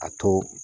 A to